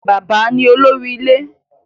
Baba ni olori ile